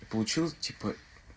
получилось типа